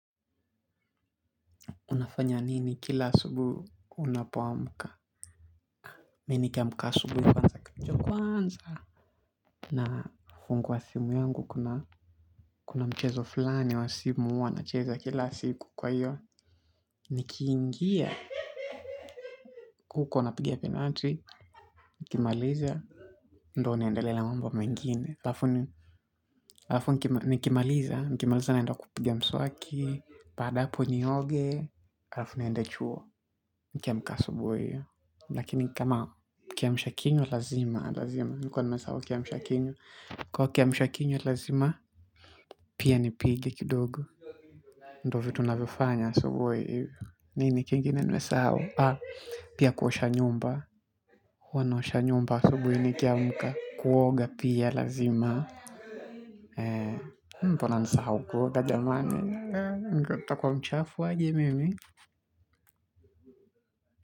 Unafanya nini kila asubuhi unapoamka mimi nikiamka asubuhi. Nafungua simu yangu kuna mchezo fulani wa simu huwa nacheza kila siku kwa hiyo. Nikiingia. Kuko unapigia penalti. Nikimaliza. Ndo naendelea ba mambo mengine. Alafu nikimaliza. Nikimaliza naenda kupigia mswaki. Baada ya hapo nioge. Alafu niende chuo. Nikiamka asubuhi hiyo. Lakini kama kiamsha kinywa lazima nilikuwa nimesahau kiamsha kinywa kwa kiamsha kinywa lazima pia nipige kidogo. Ndo vitu navyofanya so huwe. Nini kingine nimesahau. Pia kuosha nyumba huwa naosha nyumba asubui nikiamka. Kuoga pia lazima. Mbona nisahau kuoga jamani. Nitakuwa mchafu aje mimi.